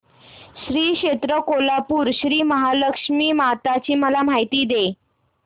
श्री क्षेत्र कोल्हापूर श्रीमहालक्ष्मी माता ची मला माहिती दे